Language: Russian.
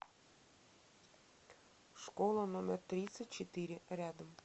школа номер тридцать четыре рядом